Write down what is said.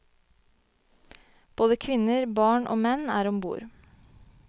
Både kvinner, barn og menn er ombord.